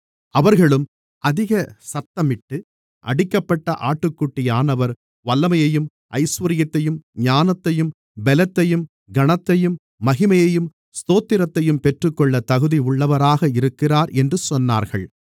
அவர்களும் அதிக சத்தமிட்டு அடிக்கப்பட்ட ஆட்டுக்குட்டியானவர் வல்லமையையும் ஐசுவரியத்தையும் ஞானத்தையும் பெலத்தையும் கனத்தையும் மகிமையையும் ஸ்தோத்திரத்தையும் பெற்றுக்கொள்ளத் தகுதியுள்ளவராக இருக்கிறார் என்று சொன்னார்கள்